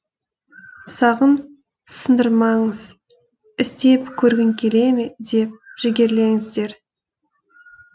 сағын сындырмаңыз істеп көргің келе ме деп жігерлеңіздер